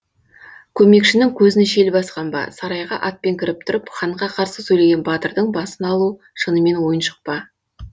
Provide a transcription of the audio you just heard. көмекшінің көзін шел басқан ба сарайға атпен кіріп тұрып ханға қарсы сөйлеген батырдың басын алу шынымен ойыншық па